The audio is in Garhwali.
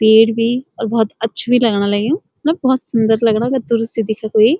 पेड़ भी अर बहौत अच्छू बि लगणा लग्युं मतलब बहौत सुन्दर लगणा अगर दूर से देखे कोई।